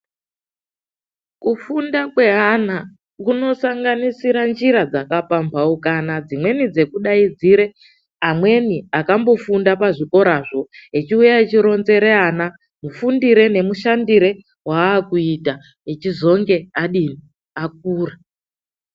Kufunda kweana kunosanganisira njira dzakapambaukana dzimweni dzekudaidzira amweni akambofunda pazvikorazvo echiuya echironzera ana kuti kufundire nemushandire wakuita echizonge adini ? Akura.